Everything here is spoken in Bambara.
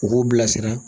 U k'u bilasira